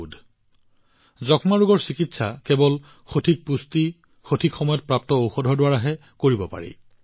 কেৱল সঠিক পুষ্টিৰে যক্ষ্মা ৰোগৰ চিকিৎসা কৰা সম্ভৱ সঠিক সময়ত ঔষধ যোগানেৰে যক্ষ্মা ৰোগৰ নিদান সম্ভৱ